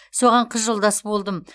соған қыз жолдас болдым